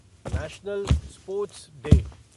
national sports day